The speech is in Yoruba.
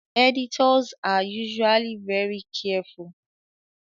Editors are usually very careful